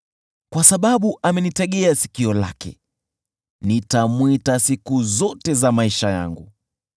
Kwa sababu amenitegea sikio lake, nitamwita siku zote za maisha yangu.